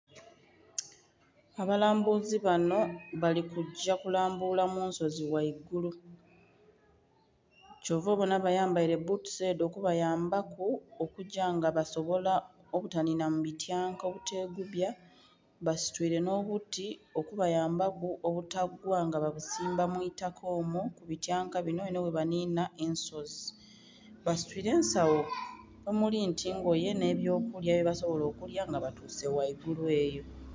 Abalambuzi banho bali kugya kulambula mu nsozi ghaigulu. Kyova obona bayambaile bbutusi edho okubayambaku okugya nga basobola obutanhinha mu bityanka obutegubya. Basitwile nh'obuti okubayambaku obutagwa nga babusimba mu itaka omwo mu bityanka binho enho bwe banhinha ensozi. Basitwile ensagho omuli nti ngoye nh'ebyokulya bye basobola okulya nga batuuse ghaigulu eyo.